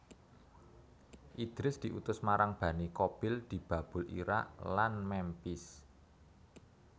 Idris diutus marang Bani Qabil di Babul Iraq lan Memphis